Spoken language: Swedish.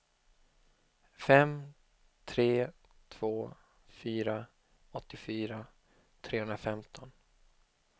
fem tre två fyra åttiofyra trehundrafemton